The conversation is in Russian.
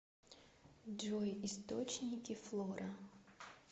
джой источники флора